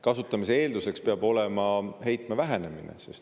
Kasutamise eelduseks peab olema heitme vähenemine.